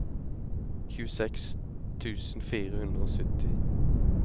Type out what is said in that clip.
tjueseks tusen fire hundre og sytti